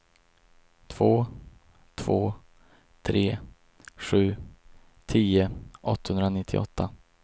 två två tre sju tio åttahundranittioåtta